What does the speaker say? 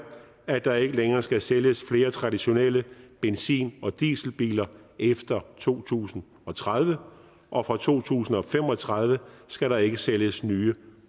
at der ikke længere skal sælges flere traditionelle benzin og dieselbiler efter to tusind og tredive og fra to tusind og fem og tredive skal der ikke sælges nye